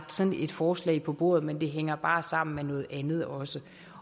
sådan et forslag på bordet men det hænger bare sammen med noget andet også